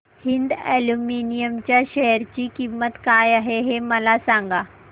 Hind aluminium च्या share ची किंमत काय आहे हे सांगा